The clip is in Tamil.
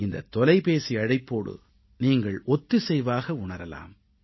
இந்தத் தொலைபேசி அழைப்போடு நீங்கள் ஒத்திசைவாக உணரலாம்